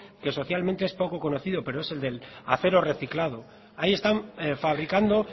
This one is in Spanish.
que socialmente es poco conocido pero es el del acero reciclado ahí están fabricando